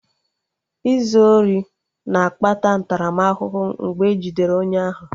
Izu ori na-akpata ntaramahụhụ mgbe e jidere onye ahụ